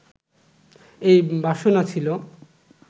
এই বাসনা ছিল